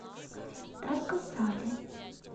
тарко сале